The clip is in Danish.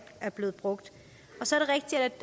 er blevet brugt så